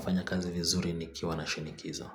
Fanya kazi vizuri nikiwa na shinikizo.